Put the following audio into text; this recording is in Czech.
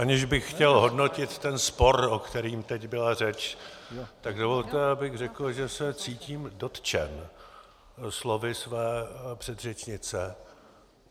Aniž bych chtěl hodnotit ten spor, o kterým teď byla řeč, tak dovolte, abych řekl, že se cítím dotčen slovy své předřečnice.